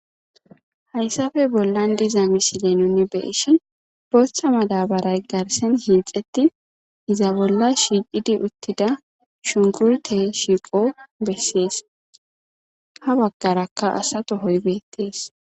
Hayssappe bollan diza misile nuun beyishin booththa madabaray gaththan hixettin iza bolla shiqidi uttidia shunkurtte shiiqqo beses ha baggarakka asa tohoy beettes